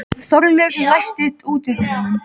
Þorlaug, læstu útidyrunum.